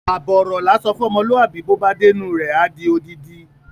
Àbọ̀ ọ̀rọ̀ là ń sọ fún ọmọlúàbí bó bá dénú rẹ̀ á di odidi.